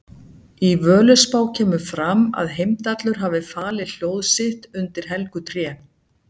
Í Völuspá kemur fram að Heimdallur hafi falið hljóð sitt undir helgu tré.